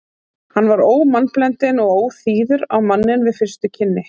Hann var ómannblendinn og óþýður á manninn við fyrstu kynni.